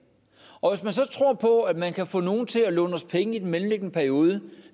og hvis man så tror på at man kan få nogle til at låne os penge i den mellemliggende periode